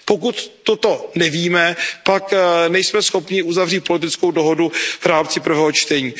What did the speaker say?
Pokud toto nevíme, pak nejsme schopni uzavřít politickou dohodu v rámci prvního čtení.